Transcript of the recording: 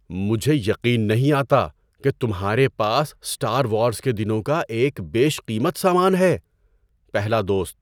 مجھے یقین نہیں آتا کہ تمہارے پاس اسٹار وارز کے دنوں کا ایک بیش قیمت سامان ہے۔ (پہلا دوست)